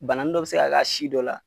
Bananin dɔ bɛ se ka k'a si dɔ la.